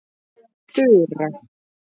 Þura